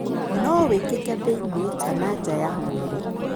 No wĩkĩke thĩinĩ kana nja ya mwĩrĩ.